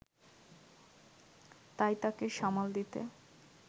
তাই তাকে সামাল দিতে